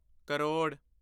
crore